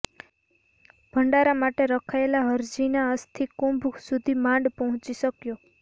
ભંડારા માટે રખાયેલા હરજીના અસ્થિકુંભ સુધી માંડ પહોંચી શક્યો